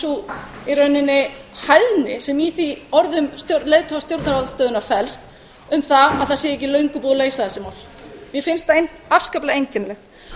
sú í rauninni bæði sem í orðum leiðtoga stjórnarandstöðunnar felst um það að það sé ekki löngu búið að leysa þessi mál mér finnst það afskaplega einkennilegt